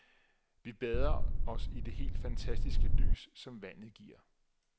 Vi bader os i det helt fantastiske lys, som vandet giver.